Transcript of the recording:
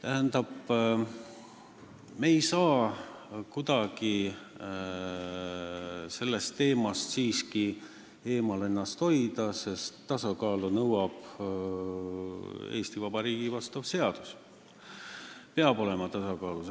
Me ei saa siiski kuidagi ennast sellest teemast eemal hoida, sest tasakaalu nõuab Eesti Vabariigi seadus, siin peab olema tasakaal.